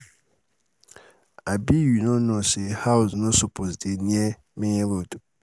um abi you no um know say house um um no suppose dey near main road?